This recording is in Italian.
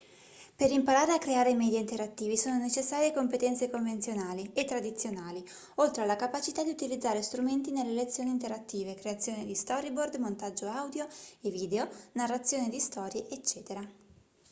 per imparare a creare media interattivi sono necessarie competenze convenzionali e tradizionali oltre alla capacità di utilizzare strumenti nelle lezioni interattive creazione di storyboard montaggio audio e video narrazione di storie ecc.